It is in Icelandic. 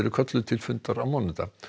kölluð til fundar á mánudag